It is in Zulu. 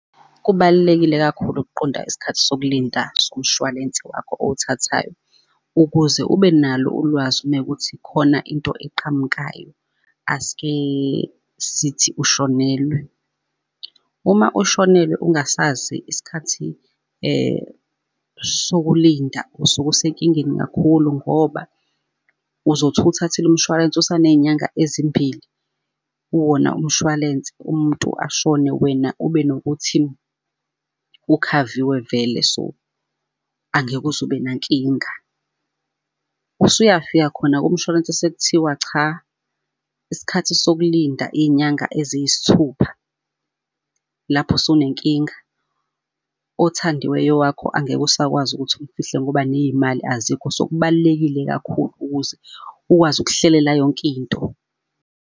Kubalulekile kakhulu ukuqonda isikhathi sokulinda somshwalense wakho owuthathayo. Ukuze ube nalo ulwazi uma kuwukuthi khona into eqhamukayo, asike sithi ushonelwe. Uma ushonelwe ungasazi isikhathi sokulinda, usuke usenkingeni kakhulu ngoba uzothi uwuthathile umshwarensi usaney'nyanga ezimbili, kuwona umshwalense, umuntu ashone wena ube nokuthi ukhaviwe vele so angeke uze ube nankinga. Usuyafika khona kumshwalense sekuthiwa cha, isikhathi sokulinda iy'nyanga eziyisthupha lapho sunenkinga, othandiweyo wakho angeke usakwazi ukuthi umfihle ngoba ney'mali azikho. So kubalulekile kakhulu ukuze ukwazi ukuhlelela yonkinto.